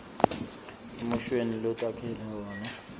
emushweni lotakhele wona